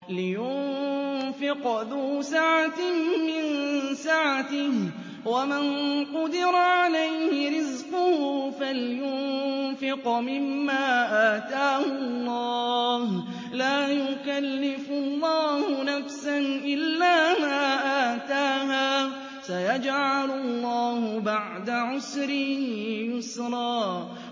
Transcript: لِيُنفِقْ ذُو سَعَةٍ مِّن سَعَتِهِ ۖ وَمَن قُدِرَ عَلَيْهِ رِزْقُهُ فَلْيُنفِقْ مِمَّا آتَاهُ اللَّهُ ۚ لَا يُكَلِّفُ اللَّهُ نَفْسًا إِلَّا مَا آتَاهَا ۚ سَيَجْعَلُ اللَّهُ بَعْدَ عُسْرٍ يُسْرًا